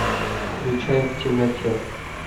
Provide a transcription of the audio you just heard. включай в темноте